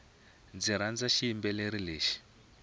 ndzi rhandza xiyimbeleri lexi